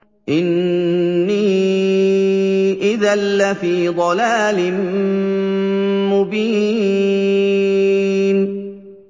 إِنِّي إِذًا لَّفِي ضَلَالٍ مُّبِينٍ